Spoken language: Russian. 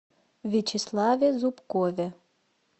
вячеславе зубкове